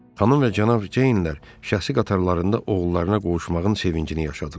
Xanım və cənab Ceynlər şəxsi qatarlarında oğullarına qovuşmağın sevincini yaşadılar.